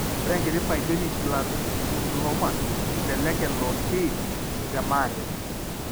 Ore enkiti pyogenic granulomas elelek elo pi te maate.